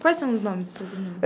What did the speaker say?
Quais são os nomes dos seus irmãos?